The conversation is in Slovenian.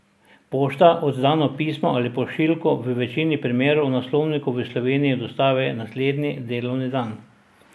Pošta oddano pismo ali pošiljko v večini primerov naslovniku v Sloveniji dostavi naslednji delovni dan.